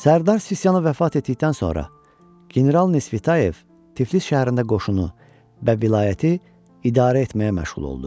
Sərdar Sisiyanov vəfat etdikdən sonra General Nisfitayev Tiflis şəhərində qoşunu və vilayəti idarə etməyə məşğul oldu.